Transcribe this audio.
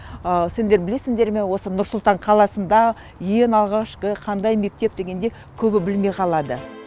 сендер білесіңдер ме осы нұр сұлтан қаласында ең алғашқы қандай мектеп дегенде көбі білмей қалады